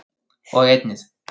og einnig